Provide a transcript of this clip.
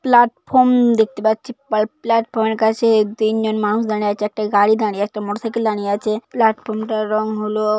Platform দেখতে পাচ্ছি। পা প্ল্যাটফর্ম এর কাছে তিনজন মানুষ দাঁড়িয়ে আছে। একটা গাড়ি দাঁড়িয়ে একটা মোটরসাইকেল দাঁড়িয়ে আছে। প্ল্যাটফর্ম টার রং হলো--